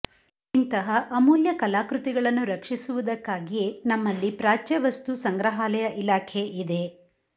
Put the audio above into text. ಇಂತಹ ಅಮೂಲ್ಯ ಕಲಾಕೃತಿಗಳ್ನು ರಕ್ಷಿಸುವುದಕ್ಕಾಗಿಯೆ ನಮ್ಮಲ್ಲಿ ಪ್ರಾಚ್ಯವಸ್ತು ಸಂಗ್ರಹಾಲಯ ಇಲಾಖೆ ಇದೆ